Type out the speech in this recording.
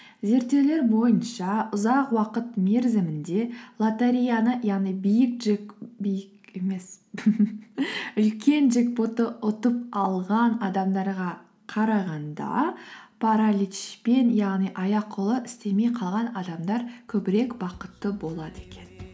зерттеулер бойынша ұзақ уақыт мерзімінде лотереяны яғни үлкен джекпотты ұтып алған адамдарға қарағанда параличпен яғни аяқ қолы істемей қалған адамдар көбірек бақытты болады екен